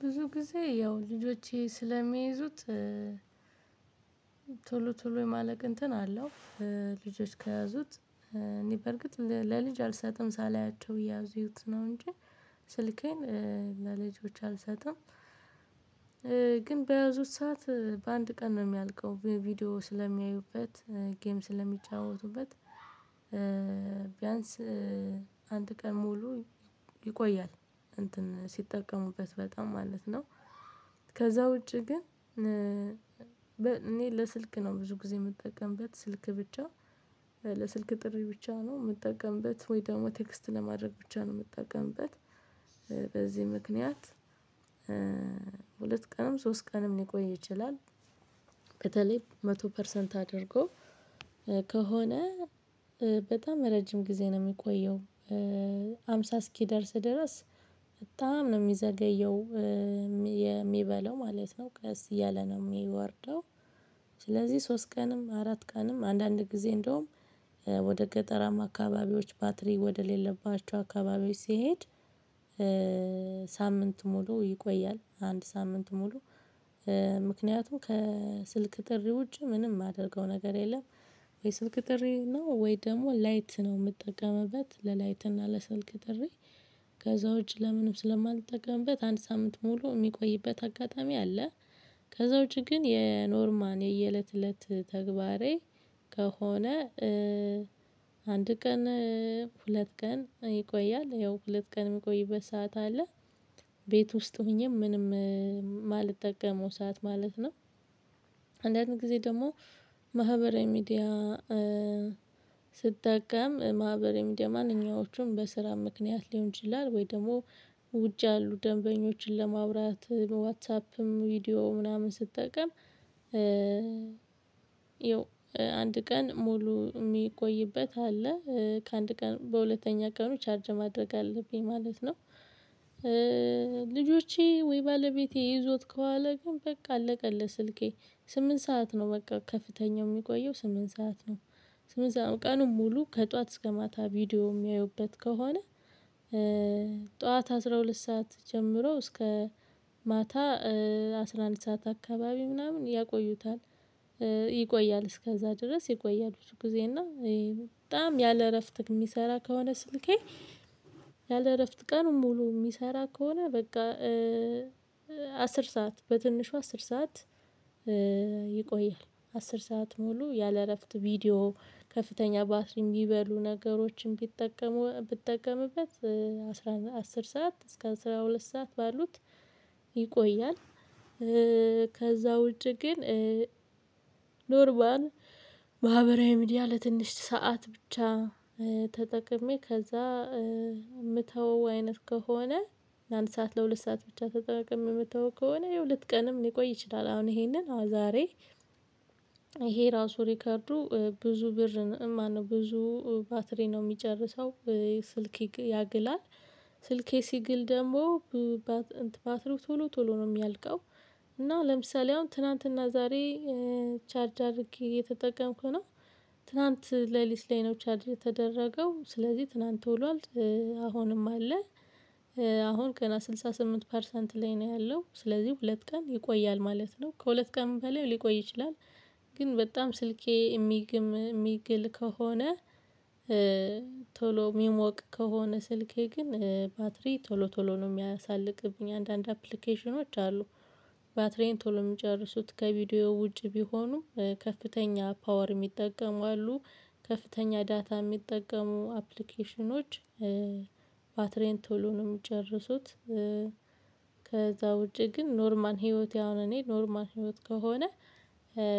ብዙ ጊዜ ያው ልጆቼ ስለሚይዙት ቶሎ ቶሎ የማለቅ እንትን አለው ልጆች ከያዙት እኔ በርግጥ ለልጅ አልሰጥም ሳላያቸው እየያዙት ነው እንጂ ስልኬን ለልጆች አልሰጥም ግን በያዙት ሰዓት በአንድ ቀን ነው የሚያልቀው ቪዲዮ ስለሚያዩበት፣ ጌም ስለሚጫወቱበት ቢያንስ አንድ ቀን ሙሉ ይቆያል እንትን ሲጠቀሙበት በጣም ማለት ነው። ከዛ ውጪ ግን እኔ ለስልክ ነው ብዙ ጊዜ የምጠቀምበት ስልክ ብቻ ለስልክ ጥሪ ብቻ ነው የምጠቀምበት ወይ ደግሞ ቴክስት ለማድረግ ብቻ ነው የምትጠቀምበት በዚህ ምክንያት ሁለት ቀንም ሶስት ቀንም ሊቆይ ይችላል። በተለይ መቶ ፐርሰንት አድርጎ ከሆነ በጣም ረጅም ጊዜ ነው የሚቆየው ሃምሳ እስኪደርስ ድረስ በጣም ነው የሚዘገየው የሚበለው ማለት ነው ቀስ እያለ ነው የሚወርደው ስለዚህ ሶስት ቀንም፣ አራት ቀንም አንዳንድ ጊዜ እንደውም ወደ ገጠራም አካባቢዎች ባትሪ ወደሌለባቸው አካባቢዎች ሲሄድ ሳምንት ሙሉ ይቆያል አንድ ሳምንት ሙሉ ምክንያቱም ከስልክ ጥሪ ውጪ ምንም የማደርገው ነገር የለም ወይ ስልክ ጥሪ ነው ወይ ደግሞ ላይት ነው የምትጠቀመበት ለላይት እና ለስልክ ጥሪ ከዛ ውጪ ለምንም ስለማልጠቀምበት አንድ ሳምንት ሙሉ የሚቆይበት አጋጣሚ አለ። ከዛ ውጪ ግን የኖርማል የየእለት እለት ተግባሬ ከሆነ አንድ ቀን። ሁለት ቀን ይቆያል ያው ሁለት ቀን የሚቆይበት ሰዓት አለ ቤት ውስጥ ሆኜ ምንም የማልጠቀመው ሰዓት ማለት ነው አንዳንድ ጊዜ ደግሞ ማህበራዊ ሚዲያ ስትጠቀም ማህበራዊ ሚድያ ማንኛዎቹም በስራ ምክንያት ሊሆን ይችላል ወይ ደግሞ ውጪ ያሉ ደንበኞችን ለማዉራት ዋትሳፕም ቪዲዮ ምናምን ስትጠቀም ያው አንድ ቀን ሙሉ የሚቆይበት አለ ከአንድ ቀን በሁለተኛ ቀኑ ቻርጅ ማድረግ አለብኝ ማለት ነው። ልጆቼ ወይ ባለቤቴ ይዞት ከኋላ ግን በቃ አለቀለት ስልኬ ስምንት ሰዓት ነው በቃ ከፍተኛው የሚቆየው ስምንት ሰዓት ነው ስምንት ሰዓት ነው ቀኑን ሙሉ ከጧት እስከ ማታ ቪዲዮ የሚያዩበት ከሆነ ጧት አስራ ሁለት ሰዓት ጀምሮ እስከ ማታ አስራ አንድ ሰዓት አካባቢ ምናምን ያቆዩታል ይቆያል እስከዛ ድረስ ይቆያል ብዙ ጊዜ እና በጣም ያለ እረፍት የሚሰራ ከሆነ ስልኬ ያለ እረፍት ቀኑን ሙሉ የሚሰራ ከሆነ በቃ አስር ሰዓት በትንሹ አስር ሰዓት ይቆያል፣ አስር ሰዓት ሙሉ ያለ እረፍት ቪዲዮ ከፍተኛ ባትሪ የሚበሉ ነገሮችን ቢጠቀሙ ብጠቀሙበት አስራ አስር ሰዓት እስከ አስራ ሁለት ሰዓት ባሉት ይቆያል። ከዛ ውጪ ግን ኖርማል ማህበራዊ ሚዲያ ለትንሽ ሰዓት ብቻ ተጠቅሜ ከዛ የምተው አይነት ከሆነ አንድ ሰዓት ለሁለት ሰዓት ብቻ ተጠቅሜ የምተው ከሆነ ሁለት ቀንም ሊቆይ ይችላል አሁን ይሄንን አሁን ዛሬ ይሄ ራሱ ሪከርዱ ብዙ ብር ማነው ብዙ ባትሪ ነው የሚጨርሰው ስልክ ያግላል፣ ስልኬ ሲግል ደግሞ ባትሪው ቶሎ ቶሎ ነው የሚያልቀው እና ለምሳሌ አሁን ትናንትናና ዛሬ ቻርጅ አድርጌ እየተጠቀምኩት ነው፣ ትላንት ሌሊት ላይ ነው ቻርጅ የተደረገው ስለዚህ ትላንት ውሏል አሁንም አለ አሁን ገና ስድሳ ስምንት ፐርሰንት ላይ ነው ያለው ስለዚህ ሁለት ቀን ይቆያል ማለት ነው። ከሁለት ቀን በላይ ሊቆይ ይችላል ግን በጣም ስልኬ የሚግም የሚግል ከሆነ፣ ቶሎ የሚሞቅ ከሆነ ስልኬ ግን ባትሪ ቶሎ ቶሎ ነው የሚያሳልቅብኝ። አንዳንድ አፕሊኬሽኖች አሉ ባትሪዬን ቶሎ የሚጨርሱት ከቪዲዮ ውጪ ቢሆኑ ከፍተኛ ፓወር የሚጠቀሙ አሉ ከፍተኛ ዳታ የሚጠቀሙ አፕሊኬሽኖች ባትሬን ቶሎ ነው የሚጨርሱት ከዛ ውጪ ግን ኖርማል ህይወቴ አሁን እኔ ኖርማል ህይወት ከሆነ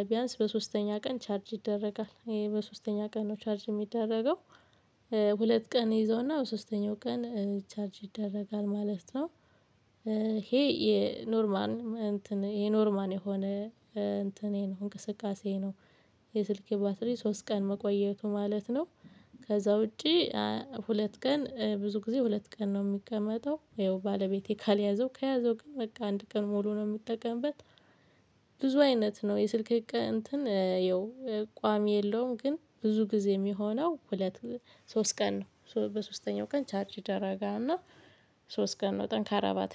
ቢያንስ በሶስተኛ ቀን ቻርጅ ይደረጋል፣ በሶስተኛ ቀን ነው ቻርጅ የሚደረገው ሁለት ቀን እይዘዉና በሶስተኛው ቀን ቻርጅ ይደረጋል ማለት ነው፣ ይሄ የኖርማን እንትን የኖርማን የሆነ እንትኔ ነው እንቅስቃሴ ነው። የስልኬ ባትሪ ሶስት ቀን መቆየቱ ማለት ነው። ከዛ ውጪ ሁለት ቀን ብዙ ጊዜ ሁለት ቀን ነው የሚቀመጠው ያው ባለቤቴ ካልያዘው ከያዘው ግን በቃ አንድ ቀን ሙሉ ነው የሚጠቀምበት ብዙ አይነት ነው የስልክ እንትን ይኸው ቋሚ የለውም ግን ብዙ ጊዜ የሚሆነው ሁለት ሶስት ቀን ነው በሶስተኛው ቀን ቻርጅ ደረጋ እና ሶስት ቀን ነው ጠንካራ ባትሪ ነው።